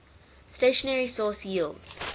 stationary source yields